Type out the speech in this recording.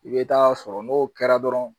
I bɛ taa sɔrɔ n'o kɛra dɔrɔn